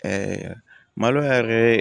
malo yɛrɛ